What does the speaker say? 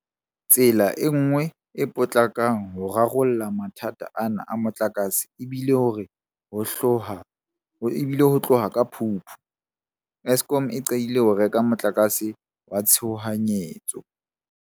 Tsela e nngwe e potlakang ho rarolleng mathata ana a motlakase e bile hore ho tloha ka Phupu, Eskom e qadile ho reka motlakase wa tshohanyetso.